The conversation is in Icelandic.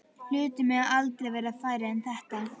Hlutir mega aldrei verða færri en þetta.